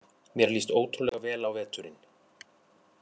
Mér líst ótrúlega vel á veturinn